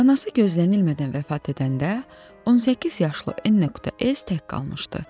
Anası gözlənilmədən vəfat edəndə, 18 yaşlı N.S. tək qalmışdı.